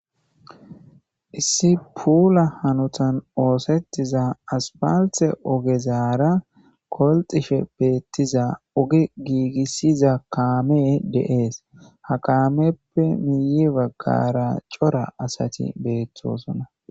issi puula hanotan oosettiza aspalthe ogezaara kolxishe beettiza oge giigissiza kaame deees ha kameppe miyi baggara cora asati beettosona